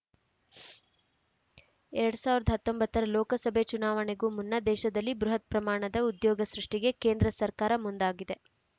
ಎರಡ್ ಸಾವಿರದ ಹತ್ತೊಂಬತ್ತ ರ ಲೋಕಸಭೆ ಚುನಾವಣೆಗೂ ಮುನ್ನ ದೇಶದಲ್ಲಿ ಬೃಹತ್‌ ಪ್ರಮಾಣದ ಉದ್ಯೋಗ ಸೃಷ್ಟಿಗೆ ಕೇಂದ್ರ ಸರ್ಕಾರ ಮುಂದಾಗಿದೆ